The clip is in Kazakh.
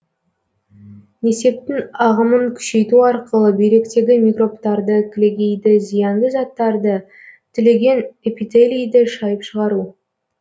несептің ағымын күшейту арқылы бүйректегі микробтарды кілегейді зиянды заттарды түлеген эпителийді шайып шығару